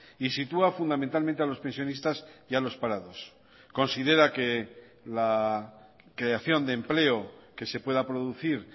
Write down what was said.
y sitúa fundamentalmente a los pensionistas y a los parados considera que la creación de empleo que se pueda producir